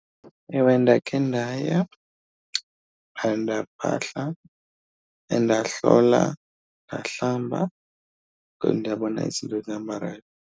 Ewe, ndakhe ndaya phaa ndaphahla and ndahlola ndahlamba, ndabona izinto zihamba right.